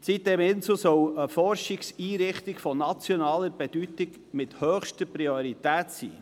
Die sitem-insel soll eine Forschungseinrichtung von nationaler Bedeutung mit höchster Priorität sein.